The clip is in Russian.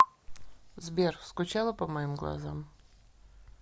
сбер скучала по моим глазам